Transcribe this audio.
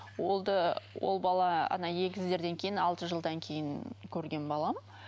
ол да ол бала ана егіздерден кейін алты жылдан кейін көрген балам